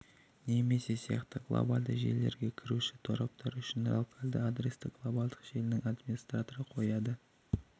немесе сияқты глобальды желілерге кіруші тораптар үшін локальды адресті глобальды желінің администраторы қояды